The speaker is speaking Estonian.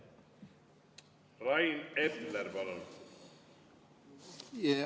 Rain Epler, palun!